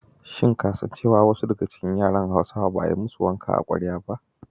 Shin ka san cewa wasu daga cikin yaran Hausawa ba a yi ma su wanka a kwarya ba?